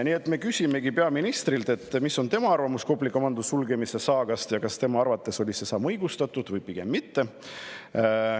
Nii et me küsimegi peaministrilt, mis on tema arvamus Kopli komando sulgemise saagast ja kas tema arvates oli see samm õigustatud või pigem mitte.